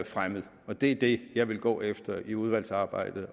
fremmet det det jeg vil gå efter i udvalgsarbejdet